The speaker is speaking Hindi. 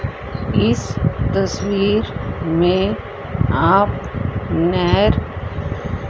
इस तस्वीर में आप नहर--